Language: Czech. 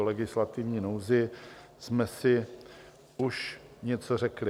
O legislativní nouzi jsme si už něco řekli.